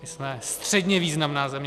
My jsme středně významná země.